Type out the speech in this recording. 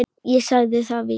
Ég sagði það víst.